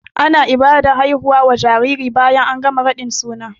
Ana Ibadan haifuwa wa jariri bayan an gama raɗin suna